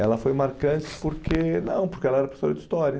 Ela foi marcante porque, não, porque ela era professora de História.